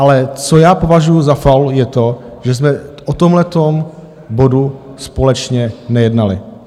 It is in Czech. Ale co já považuju za faul, je to, že jsme o tomhletom bodu společně nejednali.